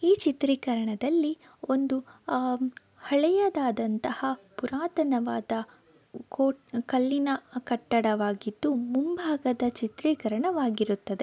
ಈ ಚಿತ್ರಿಕರಣದಲ್ಲಿ ಒಂದು ಅಹ್ ಹಳೆಯದಾದಂತಹ ಪುರಾತನವಾದ ಕೋ ಕಲ್ಲಿನ ಕಟ್ಟಡವಾಗಿದ್ದು ಮುಂಭಾಗದ ಚಿತ್ರೀಕರಣವಾಗಿರುತ್ತದೆ.